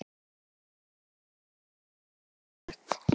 Ekkert er öruggt.